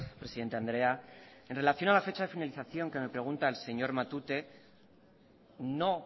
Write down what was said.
presidente andrea en relación a la fecha de finalización que me pregunta el señor matute no